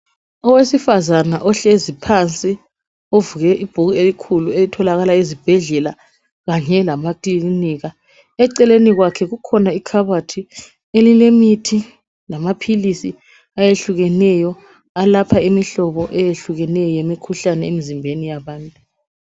Owesifazane ohlezi phansi ovule ibhuku elikhulu elitholakala ezibhedlela kanye lamakilinika. Eceleni kwakhe kukhona ikhabothi elilemithi lamaphilisi eyehlukeneyo eyelapha imikhuhlane eyehlukeneyo emizimbeni yabantu.